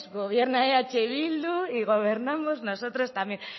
gobierna eh bildu y gobernamos nosotros también